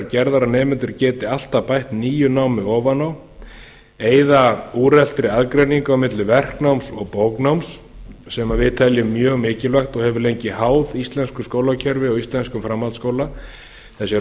gerðar að nemendur geta alltaf bætt nýju námi ofan á eyða úreltri aðgreiningu milli verknáms og bóknáms sem við teljum mjög mikilvægt og hefur lengi háð íslensku skólakerfi og íslenskum framhaldsskóla þessi